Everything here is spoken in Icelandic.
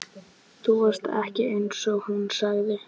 Þú varst ekki þar einsog hún sagði.